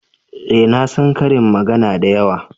eh na san ƙarin magana da yawa